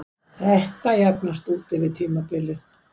Þetta jafnast út yfir tímabilið.